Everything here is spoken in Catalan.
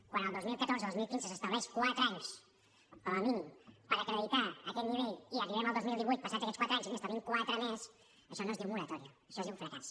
quan el dos mil catorze dos mil quinze s’estableixen quatre anys com a mínim per acreditar aquest nivell i arribem al dos mil divuit passats aquests quatre anys i n’establim quatre més això no es diu moratòria això es diu fracàs